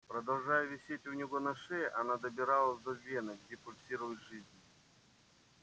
продолжая висеть у него на шее она добиралась до вены где пульсирует жизнь